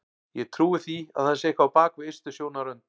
Ég trúi því að það sé eitthvað á bak við ystu sjónarrönd.